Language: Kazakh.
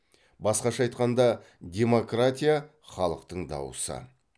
басқаша айтқанда демократия халықтың дауысы